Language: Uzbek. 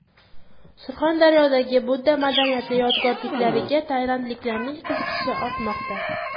Surxondaryodagi budda madaniyati yodgorliklariga tailandliklarning qiziqishi ortmoqda.